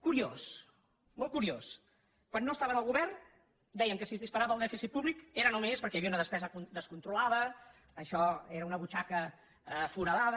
curiós molt curiós quan no estaven al govern deien que si es disparava el dèficit públic era només perquè hi havia una despesa descontrolada que això era una butxaca foradada